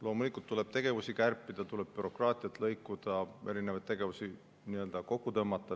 Loomulikult tuleb tegevusi kärpida, bürokraatiat lõikuda, erinevaid tegevusi kokku tõmmata.